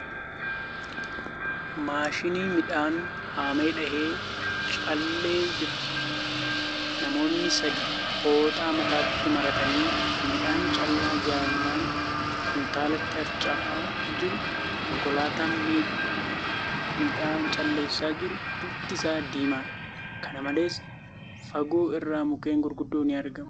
Maashinni midhaan haamee dha'ee callee jira. Namoonni sadii fooxaa mataatti maratanii midhaan callaa jalaan kuntaalatti harachaa jiru. Konkolaataan midhaa calleessaa jiru bifti isaa diimadha. Kana malees, Fagoo irratti mukkeen gurguddoon ni argamu .